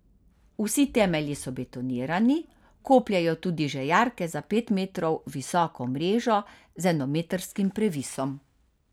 Vsi temelji so betonirani, kopljejo tudi že jarke za pet metov visoko mrežo z enometrskim previsom.